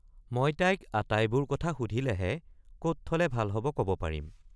মই তাইক আটাই বোৰ কথা সুধিলেহে কত থলে ভাল হব কব পাৰিম।